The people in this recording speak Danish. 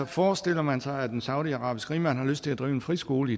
forestiller man sig at en saudiarabisk rigmand har lyst til at drive en friskole